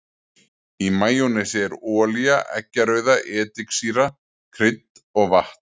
Í majónesi er olía, eggjarauða, ediksýra, krydd og vatn.